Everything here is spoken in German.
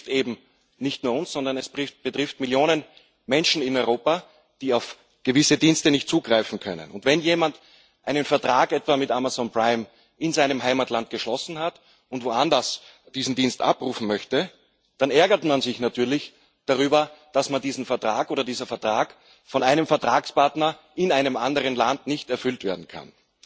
Aber es betrifft eben nicht nur uns, sondern es betrifft Millionen Menschen in Europa, die auf gewisse Dienste nicht zugreifen können. Wenn etwa jemand einen Vertrag mit Amazon Prime in seinem Heimatland geschlossen hat und woanders diesen Dienst abrufen möchte, dann ärgert er sich natürlich darüber, dass dieser Vertrag nicht von einem Vertragspartner in einem anderen Land erfüllt werden kann.